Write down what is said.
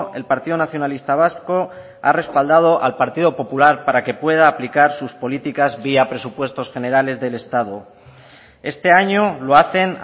el partido nacionalista vasco ha respaldado al partido popular para que pueda aplicar sus políticas vía presupuestos generales del estado este año lo hacen